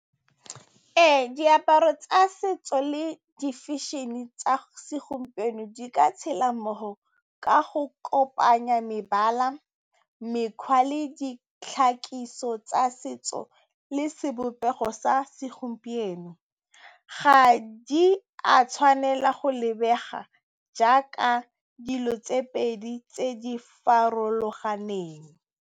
Ee, diaparo tsa setso le di-fashion-e tsa segompieno di ka tshela mmogo ka go kopanya mebala, mekgwa le ditlhako dithuso tsa setso le sebopego sa segompieno. Ga di a tshwanela go lebega jaaka dilo tse pedi tse di farologaneng.